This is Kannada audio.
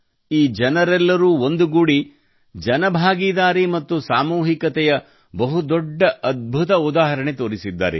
ಈ ಜನರೆಲ್ಲರೂ ಒಂದುಗೂಡಿ ಜನಭಾಗಿದಾರಿ ಮತ್ತು ಸಾಮೂಹಿಕತೆಯ ಬಹು ದೊಡ್ಡ ಅದ್ಭುತ ಉದಾಹರಣೆ ತೋರಿಸಿದ್ದಾರೆ